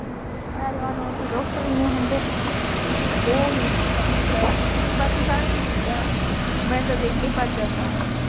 ਐਤਵਾਰ ਨੂੰ ਉਥੇ ਡਾਕਟਰ ਈ ਨੀਂ ਹੁੰਦੇ। ਉਹ ਹੁੰਦੇ ਨੇ ਬਾਕੀ ਸਾਰੇ ਦਿਨ ਹੁੰਦਾ, ਮੈਨੂੰ ਤਾਂ ਦੇਖ ਕੇ ਈ ਭੱਜ ਜਾਂਦਾ ਉਹੋ।